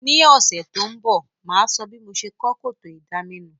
Ní òsẹ̀ to n bò, máa so bí mo se kó kòtò ìdaminù